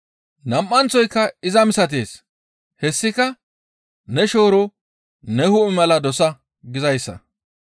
Nam7anththoyka iza misatees, hessika, ‹Ne shooro ne hu7e mala dosa› gizayssa.